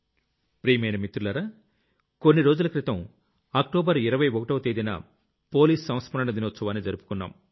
ప్రియమైన మిత్రులారా కొన్ని రోజుల క్రితం అక్టోబర్ 21వ తేదీన పోలీస్ సంస్మరణ దినోత్సవాన్ని జరుపుకున్నాం